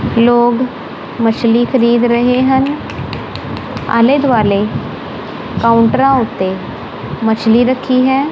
ਲੋਗ ਮਛਲੀ ਖਰੀਦ ਰਹੇ ਹਨ ਆਲ਼ੇ ਦੁਆਲੇ ਕਾਊਂਟਰਾਂ ਓੱਤੇ ਮਛਲੀ ਰੱਖੀ ਹੈ।